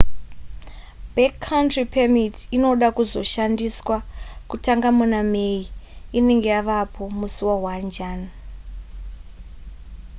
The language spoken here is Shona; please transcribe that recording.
backcountry permit inoda kuzoshandiswa kutanga muna may inenge yavapo musi wa1 jan